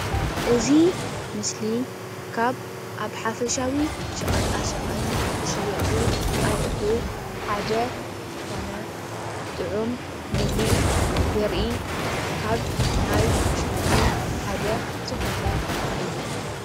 እዚ ምስሊ ካብ ኣብ ሓፈሻዊ ሸቐጣሸቐጥ ዝሽየጡ ኣቑሑ ሓደ ዝኾነ ጡዑም ምግቢ ዘርኢ ካብ ናይ ብሽኩቲ ሓደ ዝኾነ እዩ።